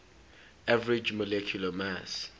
average molecular mass